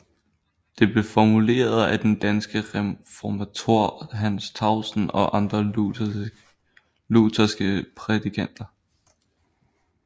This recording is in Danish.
Det blev formuleret af den danske reformator Hans Tausen og andre lutherske prædikanter